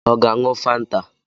Ọ ga-aṅụ Fanta?